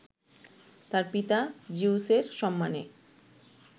তার পিতা জিউসের সম্মানে